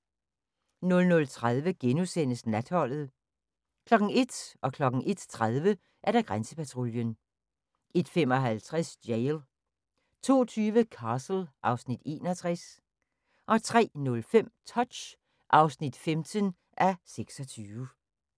00:30: Natholdet * 01:00: Grænsepatruljen 01:30: Grænsepatruljen 01:55: Jail 02:20: Castle (Afs. 61) 03:05: Touch (15:26)